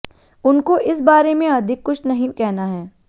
उनको इस बारे में अधिक कुछ नहीं कहना है